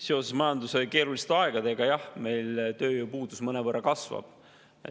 Seoses majanduse keeruliste aegadega, jah, meil tööpuudus mõnevõrra kasvab.